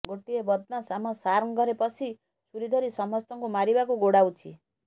ଗୋଟିଏ ବଦମାସ୍ ଆମ ସାର୍ଙ୍କ ଘରେ ପଶି ଛୁରୀ ଧରି ସମସ୍ତଙ୍କୁ ମାରିବାକୁ ଗୋଡାଉଛି